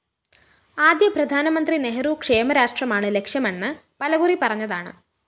ആദ്യ പ്രധാനമന്ത്രി നെഹ്രു ക്ഷേമരാഷ്ട്രമാണ് ലക്ഷ്യമെന്ന് പലകുറി പറഞ്ഞതാണ്